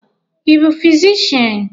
Ị bụ fizishian?